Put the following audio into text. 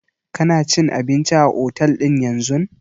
Kana cin abinci a otel ɗin yanzun?